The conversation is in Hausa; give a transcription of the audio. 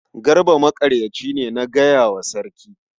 Garba maƙaryaci ne na gaya wa sarki.